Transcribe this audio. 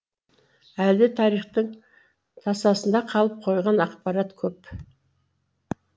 әлі де тарихтың тасасында қалып қойған ақпарат көп